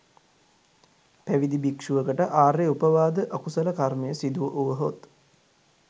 පැවිදි භික්‍ෂුවකට ආර්ය උපවාද අකුසල කර්මය සිදු වුවහොත්